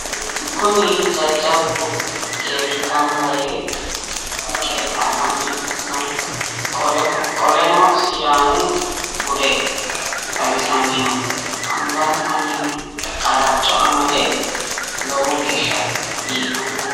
Kuni jajjabbu geerri gamba yee qeexxallani no. Qoleno sidaamu bude xawissanni no. Angansanniino qalaco amadde lowo geeshsha biiffano.